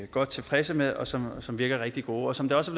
godt tilfredse med og som som virker rigtig gode som det også